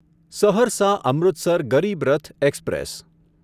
Saharsa Amritsar Garib Rath express